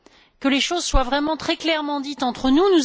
Que les choses soient vraiment très clairement dites entre nous.